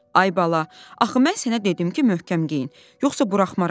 Ay bala, axı mən sənə dedim ki, möhkəm geyin, yoxsa buraxmaram.